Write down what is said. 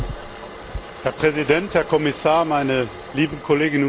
Herr Präsident, Herr Kommissar, meine lieben Kolleginnen und Kollegen!